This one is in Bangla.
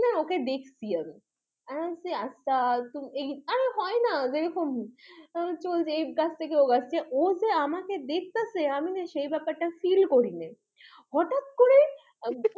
হ্যাঁ ওকে দেখছি আগে আরে হয়না যেরকম এক গাছ থেকে আরেক গাছ। আচ্ছা ও যে আমাকে দেখতেছে আমি না সেই ব্যাপারটা feel করিনি। হঠাৎ করে